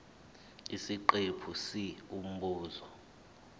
isiqephu c umbuzo